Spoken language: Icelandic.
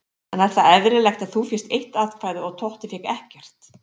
En er það eðlilegt að þú fékkst eitt atkvæði og Totti fékk ekkert?